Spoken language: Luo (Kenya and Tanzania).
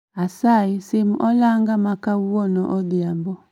Asayi sim olanga makawuono odhiambo